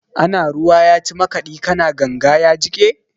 Ana ruwa ya ci makaɗi, ka na ganga ya jiƙe.